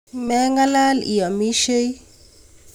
mengalal iamishei